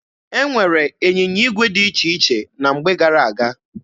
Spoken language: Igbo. E nwere ịnyịnya igwe dị iche iche na mgbe gara aga.